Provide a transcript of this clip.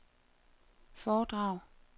foredrag